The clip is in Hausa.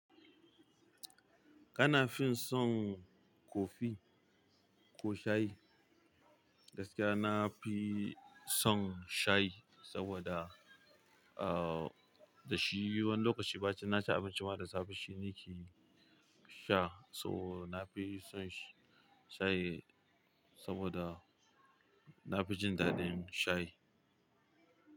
Kana fin son kofi ko shayi? Gaskiya na fi son shayi saboda, uh, da shi wani lokaci bacin na ci abinci ma da safe shi nake sha. So na fi son shayi saboda na fi jin daɗin shayi.